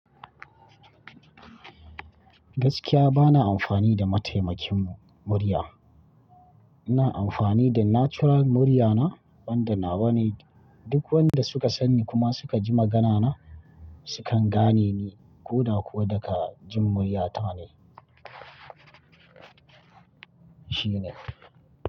Gaskiya bana amfani da mataimakin murya. Ina amfani da natural murya na, wanda nawa ne duk wanda suka san ni kuma suka ji magana na sukan gane ni ko da kuwa daga jin murya ta ne. Shi ne.